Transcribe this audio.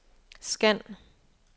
scan